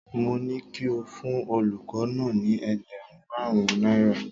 Mó ní kí o fún ọlọ́kọ̀ náà ni ẹgbẹ̀rún márùn-ún náírà.